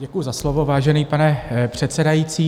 Děkuju za slovo, vážený pane předsedající.